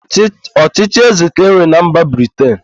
Ọchịchị ézē ka e nwere na mba Briten.